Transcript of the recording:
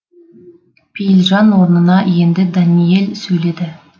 пейілжан орнына енді дәниел сөйледі